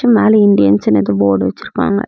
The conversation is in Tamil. மேல இந்தியன்ஸ்னு எதோ போர்டு வச்சுருக்காங்க.